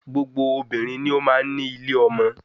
Gbogbo obìnrin ni ó máa ń ní ilé ọmọ